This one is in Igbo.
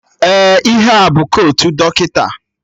Ee, ihe a bụ kotu dọkịta